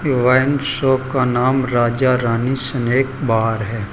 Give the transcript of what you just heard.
Wine shop का नाम Raja Rani snack bar है।